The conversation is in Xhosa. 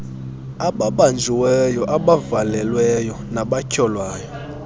ababanjiweyo abavalelweyo nabatyholwayo